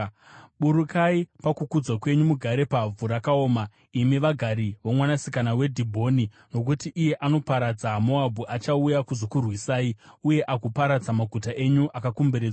“Burukai pakukudzwa kwenyu mugare pavhu rakaoma, imi vagari voMwanasikana weDhibhoni, nokuti iye anoparadza Moabhu achauya kuzokurwisai, uye agoparadza maguta enyu akakomberedzwa.